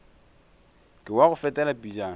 ke wa go fetela pejana